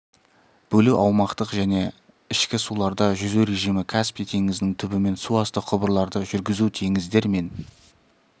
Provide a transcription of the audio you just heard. бөлу аумақтық және ішкі суларда жүзу режимі каспий теңізінің түбімен суасты құбырларды жүргізу теңіздер мен